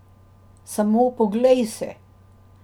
Samo poglej se!